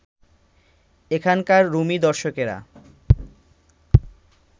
এখানকার রুমী দর্শকেরা